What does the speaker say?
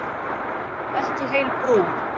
Ekki heil brú.